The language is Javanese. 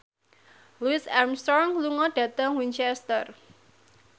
Louis Armstrong lunga dhateng Winchester